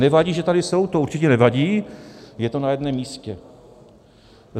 Nevadí, že tady jsou, to určitě nevadí, je to na jednom místě.